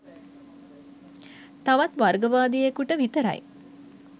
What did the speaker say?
තවත් වර්ගවාදියෙකුට විතර යි